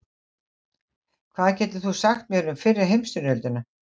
Hvað getur þú sagt mér um fyrri heimsstyrjöldina?